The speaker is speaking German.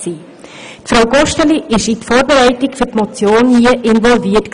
Frau Gosteli war in die Vorbereitung dieser Motion involviert.